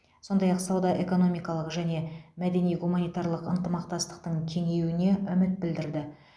сондай ақ сауда экономикалық және мәдени гуманитарлық ынтымақтастықтың кеңеюіне үміт білдірді